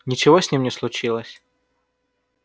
ничего с ними не случилось